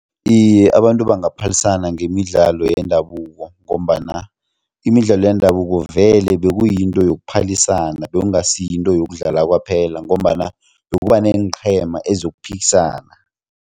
Iye, abantu bangaphalisana ngemidlalo yendabuko ngombana imidlalo yendabuko vele bekuyinto yokuphalisana bekungasi yinto yokudlala kwaphela ngombana bekuba neenqhema eziyokuphikisana.